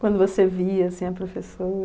Quando você via, assim, a